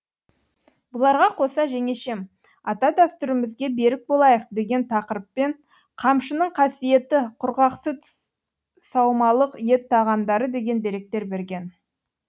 бұларға қоса жеңешем ата дәстүрімізге берік болайық деген тақырыппен қамшының қасиеті құрғақ сүт саумалық ет тағамдары деген деректер берген